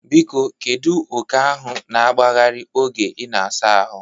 Biko kedu oke ahụ na-agbagharị oge ị na-asa ahụ?